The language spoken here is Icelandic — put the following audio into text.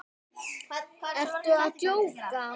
Ertu að djóka?